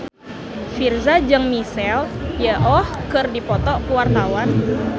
Virzha jeung Michelle Yeoh keur dipoto ku wartawan